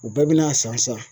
U bɛɛ bin'a san san